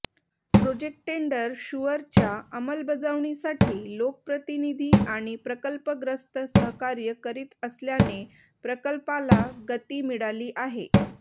project tender शुअरच्या अंमलबजावणीसाठी लोकप्रतिनिधी आणि प्रकल्पग्रस्त सहकार्य करीत असल्याने प्रकल्पाला गती मिळाली आहे